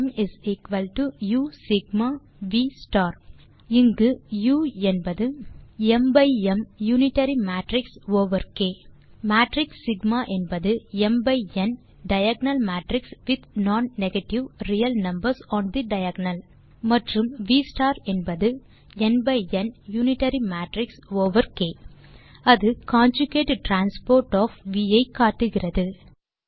ம் u sigma V star இங்கு U என்பது யூனிட்டரி மேட்ரிக்ஸ் ஓவர் க் மேட்ரிக்ஸ் சிக்மா என்பது diagonal matrix with non negative real numbers on the diagonal மற்றும் V என்பது யூனிட்டரி மேட்ரிக்ஸ் ஓவர் க் அது காஞ்சுகேட் டிரான்ஸ்போஸ் ஒஃப் வி ஐ காட்டுகிறது